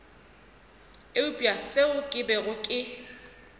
eupša seo ke bego ke